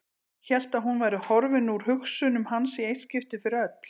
Hélt að hún væri horfin úr hugsunum hans í eitt skipti fyrir öll.